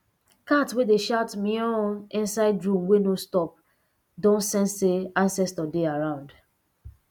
cat wey dey shout meown inside room wey no stop don sense say ancestor dey around